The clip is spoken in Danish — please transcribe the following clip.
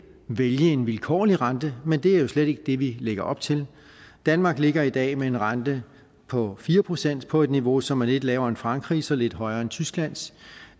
vælge en vilkårlig rente men det er jo slet ikke det vi lægger op til danmark ligger i dag med en rente på fire procent på et niveau som er lidt lavere end frankrigs og lidt højere end tysklands